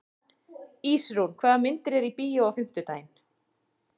Ísrún, hvaða myndir eru í bíó á fimmtudaginn?